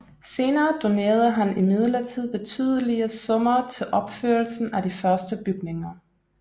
Senere donerede han imidlertid betydelige summer til opførelsen af de første bygninger